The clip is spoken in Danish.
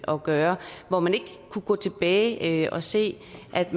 at gøre og hvor man ikke kunne gå tilbage og se at